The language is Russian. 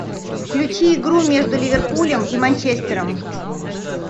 включи игру между ливерпулем и манчестером